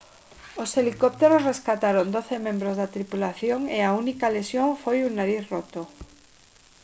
os helicópteros rescataron doce membros da tripulación e a única lesión foi un nariz roto